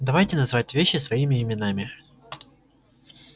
давайте называть вещи своими именами